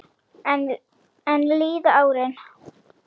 Enn líða árin.